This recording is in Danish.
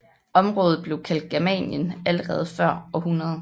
Området blev kaldt Germanien allerede før år 100